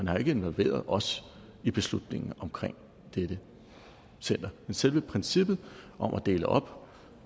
har involveret os i beslutningen omkring dette center men selve princippet om at dele op